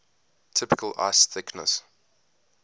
typical ice thickness